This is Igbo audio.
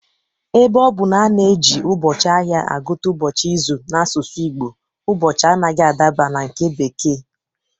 Ebe ọ bụ na a na-eji ụbọchị ahịa agụta ụbọchị izu n'asụsụ Igbo, ụbọchị anaghị adaba na nke bekee